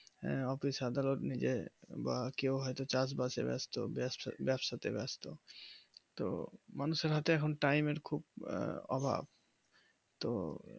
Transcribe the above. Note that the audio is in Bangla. আর তো সাধারণ যে কেউ হয়তো চাষবাস ব্যস্ত তে ব্যস্ত তো সাধারণত time এর খুব অভাব